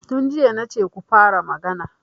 Tun jiya na ce ku fara magana!